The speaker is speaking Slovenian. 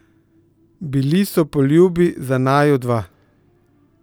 Bili so poljubi za naju dva.